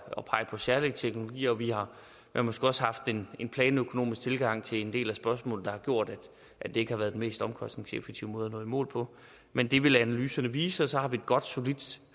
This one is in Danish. og pege på særlige teknologier vi har måske også haft en en planøkonomisk tilgang til en del af spørgsmålene der har gjort at det ikke har været den mest omkostningseffektive måde at nå i mål på men det vil analyserne vise og så har vi et godt og solidt